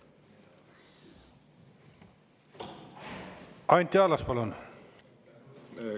Anti Allas, palun!